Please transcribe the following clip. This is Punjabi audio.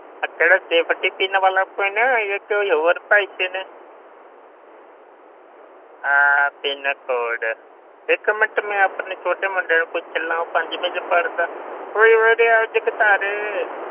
ਅਹ ਕਿਹੜਾ safety pin ਵਾਲਾ pin ਜਾਂ ਕੋਈ ਹੋਰ ਭਾਈ pin ਅਹ PIN code ਇੱਕ ਮਿੰਟ ਮੈਂ ਆਪਣੇ ਛੋਟੇ ਮੁੰਡੇ ਨੂੰ ਪੁੱਛ ਲਵਾਂ ਉਹ ਪੰਜਵੀਂ ਵਿੱਚ ਪੜ੍ਹਦਾ, ਉਹ ਉਰੇ ਆ ਉਹ ਜਗਤਾਰ,